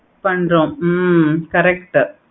பன்றோம் hmm correct உ